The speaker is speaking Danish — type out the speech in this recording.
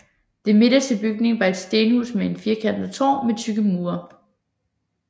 Den midterste bygning var et stenhus med et firkantet tårn med tykke mure